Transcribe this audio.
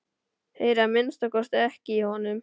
Heyri að minnsta kosti ekki í honum.